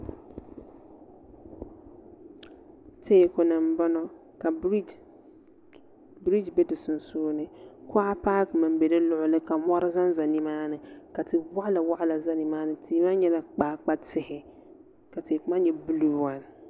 teeku ni n bɔŋɔ ka biriji bɛ di sunsuuni kuɣa paakimi n bɛ di luɣuli ni ka mɔri ʒɛnʒɛ nimaani ka tia waɣala waɣala ʒɛ nimaani tihi maa nyɛla kpaakpa tihi ka teeku maa nyɛ buluu waan